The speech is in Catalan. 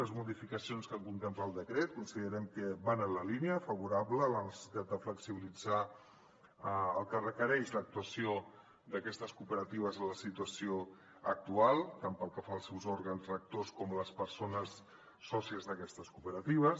les modificacions que contempla el decret considerem que van en la línia favorable a la necessitat de flexibilitzar el que requereix l’actuació d’aquestes cooperatives en la situació actual tant pel que fa als seus òrgans rectors com a les persones sòcies d’aquestes cooperatives